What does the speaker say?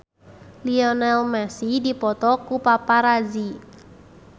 Lionel Messi dipoto ku paparazi